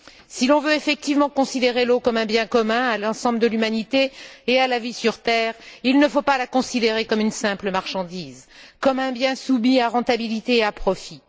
Si l'on veut effectivement considérer l'eau comme un bien commun à l'ensemble de l'humanité et à la vie sur terre, il ne faut pas la considérer comme une simple marchandise, comme un bien soumis à rentabilité et à profit.